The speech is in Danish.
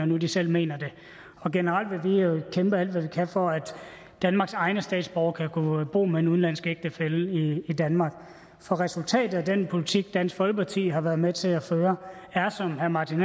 nu selv mener det generelt vil vi jo kæmpe alt hvad vi kan for at danmarks egne statsborgere kan bo med en udenlandsk ægtefælle i danmark for resultatet af den politik dansk folkeparti har været med til at føre er som herre martin